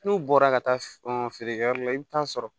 N'u bɔra ka taa feerekɛyɔrɔ la i bɛ taa sɔrɔ